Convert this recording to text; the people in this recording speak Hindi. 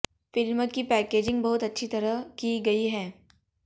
फ़िल्म की पैकेजिंग बहुत अच्छी तरह की गयी है